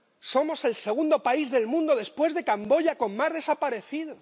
Somos el segundo país del mundo, después de Camboya, con más desaparecidos.